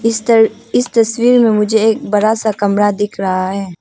इस तर इस तस्वीर में मुझे एक बड़ा सा कमरा दिख रहा है।